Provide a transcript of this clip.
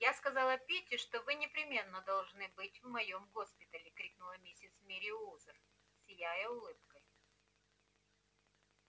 я сказала питти что вы непременно должны быть в моём госпитале крикнула миссис мерриуэзер сияя улыбкой